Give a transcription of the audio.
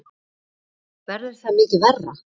Verður það mikið verra?